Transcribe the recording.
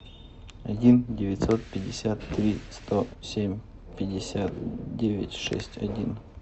один девятьсот пятьдесят три сто семь пятьдесят девять шесть один